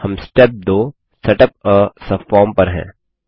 हम step 2 setup आ subform पर हैं